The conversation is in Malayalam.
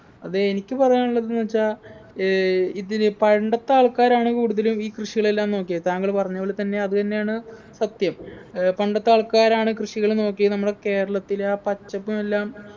അതെ എനിക്ക് പറയാനുള്ളത്ന്ന്ച്ചാ ഏർ ഇതില് പണ്ടത്തെ ആൾക്കാരാണ് കൂടുതലും ഈ കൃഷികളെല്ലാം നോക്കിയത് താങ്കള് പറഞ്ഞപോലെ തന്നെ അത് തന്നെയാണ് സത്യം ഏർ പണ്ടത്തെ ആൾക്കാരാണ് കൃഷികള് നോക്കിയേ നമ്മളെ കേരളത്തിലെ ആ പച്ചപ്പ് എല്ലാം